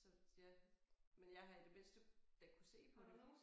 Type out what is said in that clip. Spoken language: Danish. Så ja men jeg har i det mindste da kunnet se på det